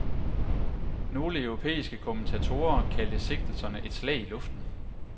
Nogle europæiske kommentatorer kaldte sigtelserne et slag i luften.